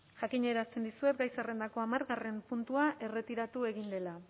jakinarazten dizuet gai zerrendako hamargarrena puntua erretiratu egin dela